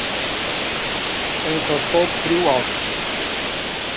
En það tók þrjú ár.